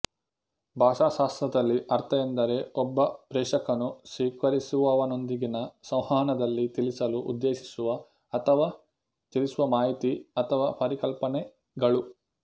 ಭಾಷಾಶಾಸ್ತ್ರದಲ್ಲಿ ಅರ್ಥ ಎಂದರೆ ಒಬ್ಬ ಪ್ರೇಷಕನು ಸ್ವೀಕರಿಸುವವನೊಂದಿಗಿನ ಸಂವಹನದಲ್ಲಿ ತಿಳಿಸಲು ಉದ್ದೇಶಿಸುವ ಅಥವಾ ತಿಳಿಸುವ ಮಾಹಿತಿ ಅಥವಾ ಪರಿಕಲ್ಪನೆಗಳು